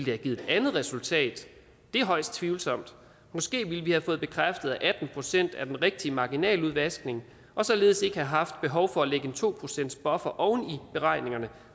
have givet et andet resultat det er højst tvivlsomt måske ville vi have fået bekræftet at atten procent er det rigtige marginaludvaskning og således ikke have haft behov for at lægge en to procentsbuffer oven i beregningerne